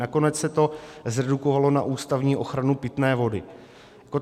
Nakonec se to zredukovalo na ústavní ochranu pitné vody.